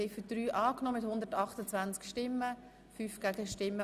Sie haben Ziffer 3 angenommen.